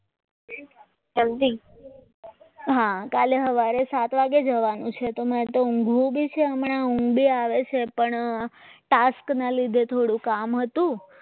હા કાલે સવારે સાત વાગે જવાનું છે તો મારે ઊંઘવું તો છે હમણાં ઊંઘ આવી આવે છે પણ task ના લીધે થોડું કામ હતું